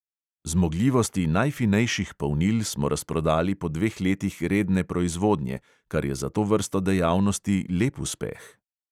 Zmogljivosti najfinejših polnil smo razprodali po dveh letih redne proizvodnje, kar je za to vrsto dejavnosti lep uspeh.